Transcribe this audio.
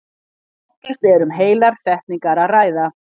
Oftast er um heilar setningar að ræða.